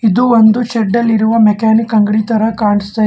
ಇದು ಒಂದು ಶೆಡ್ ಅಲ್ಲಿರುವ ಮೆಕ್ಯಾನಿಕ್ ಅಂಗ್ಡಿ ತರ ಕಾಣಸ್ತಾ--